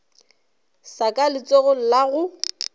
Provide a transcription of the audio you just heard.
sa ka letsogong la go